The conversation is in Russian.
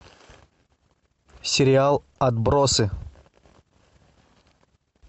сериал отбросы